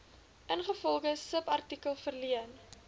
ingevolge subartikel verleen